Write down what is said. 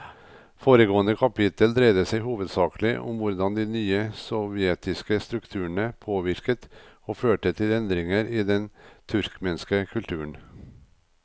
Foregående kapittel dreide seg hovedsakelig om hvordan de nye sovjetiske strukturene påvirket og førte til endringer i den turkmenske kulturen.